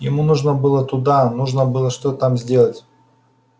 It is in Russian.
ему нужно было туда нужно было что-то там сделать